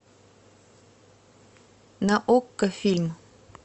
на окко фильм